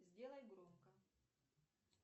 сделай громко